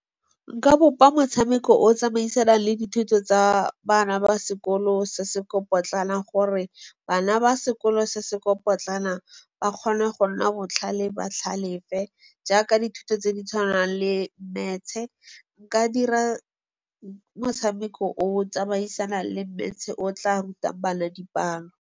Nka bopa motshameko o tsamaisanang le dithuto tsa bana ba sekolo se se ko potlana gore bana ba sekolo se se ko potlana ba kgone go nna botlhale ba tlhalefe. Jaaka dithuto tse di tshwanang le Maths-e. Nka dira motshameko o o tsamaisanang le Maths-e o tla rutang bana dipalo.